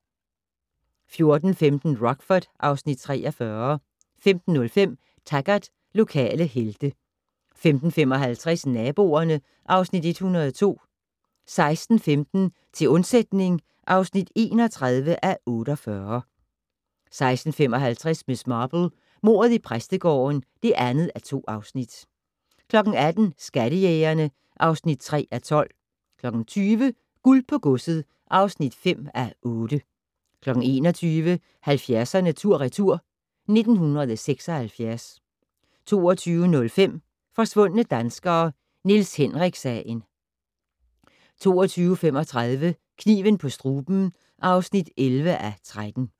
14:15: Rockford (Afs. 43) 15:05: Taggart: Lokale helte 15:55: Naboerne (Afs. 102) 16:15: Til undsætning (31:48) 16:55: Miss Marple: Mordet i præstegården (2:2) 18:00: Skattejægerne (3:12) 20:00: Guld på godset (5:8) 21:00: 70'erne tur/retur: 1976 22:05: Forsvundne danskere - Niels Henrik-sagen 22:35: Kniven på struben (11:13)